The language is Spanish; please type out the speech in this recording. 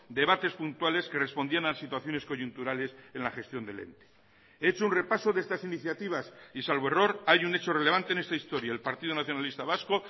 debates puntuales que respondían a situaciones coyunturales en la gestión del ente he hecho un repaso de estas iniciativas y salvo error hay un hecho relevante en esta historia el partido nacionalista vasco